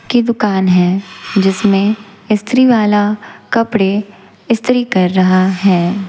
की दुकान है जिसमे इस्त्रीवाला कपड़े इस्त्री कर रहा हैं।